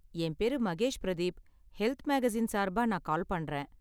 என் பேரு Mahesh Pradeep, health magazine சார்பா நான் கால் பண்றேன்.